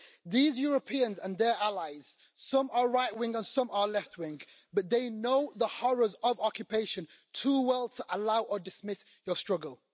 These Europeans and their allies some are right wing and some are left wing they know the horrors of occupation too well to allow or dismiss your struggle.